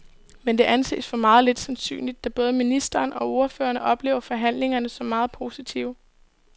Men det anses for meget lidt sandsynligt, da både ministeren og ordførerne oplever forhandlingerne som meget positive.